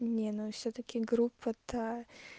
не ну всё-таки группа та